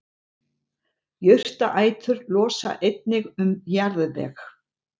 jurtaætur losa einnig um jarðveg